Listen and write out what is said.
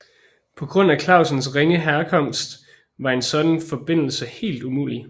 På grund af Clausens ringe herkomst var en sådan forbindelse helt umulig